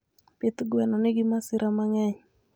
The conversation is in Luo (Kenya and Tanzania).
pith gweni nigi masira ma ng`eny.